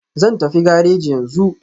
Zan tafi gareji yanzu.